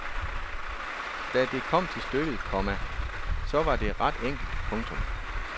Da det kom til stykket, komma så var det ret enkelt. punktum